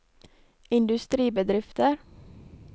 industribedrifter